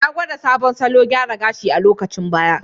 Ya gwada sabon salon gyara gashi a lokacin baya.